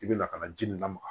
I bɛ lakana ji nin lamaga